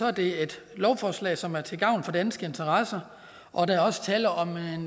er det et lovforslag som er til gavn for danske interesser og der er også tale om en